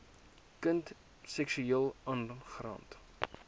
kind seksueel aangerand